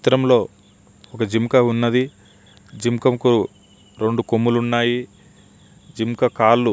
ఈ చిత్రంలో ఒక జింకా ఉన్నది జింక కు రెండు కొములు ఉన్నాయి జింక కాళ్ళు --